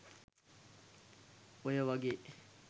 ඔය වගේ